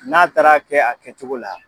N'a taara kɛ a kɛ cogo la.